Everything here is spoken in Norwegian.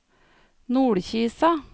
Nordkisa